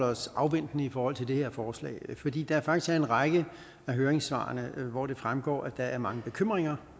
os afventende i forhold til det her forslag fordi der faktisk er en række af høringssvarene hvoraf det fremgår at der er mange bekymringer